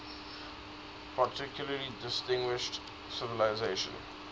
particularly distinguished civilization